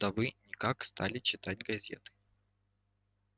да вы никак стали читать газеты